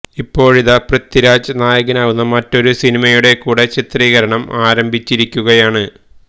ഇപ്പോഴിതാ പൃഥ്വിരാജ് നായകനാവുന്ന മറ്റൊരു സിനിമയുടെ കൂടെ ചിത്രീകരണം ആരംഭിച്ചിരിക്കുകയാണ്